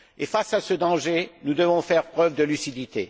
Face à ce danger, nous devons faire preuve de lucidité.